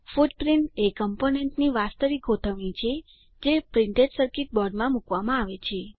footprint એ કમ્પોનન્ટની વાસ્તવિક ગોઠવણી છે જે પ્રિન્ટેડ સર્કીટ બોર્ડમાં મૂકવામાં આવે છે